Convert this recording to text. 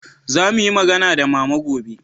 za mu yi magana da mama gobe